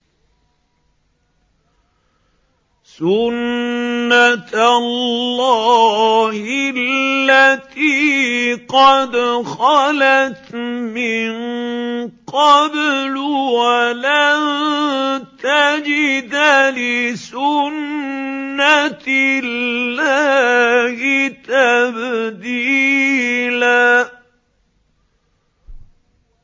سُنَّةَ اللَّهِ الَّتِي قَدْ خَلَتْ مِن قَبْلُ ۖ وَلَن تَجِدَ لِسُنَّةِ اللَّهِ تَبْدِيلًا